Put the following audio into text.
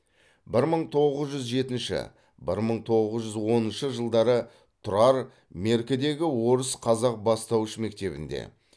бір мың тоғыз жүз жетінші бір мың тоғыз жүз оныншы жылдары тұрар меркідегі орыс қазақ бастауыш мектебінде